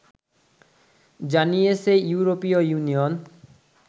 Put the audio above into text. জানিয়েছে ইউরোপীয় ইউনিয়ন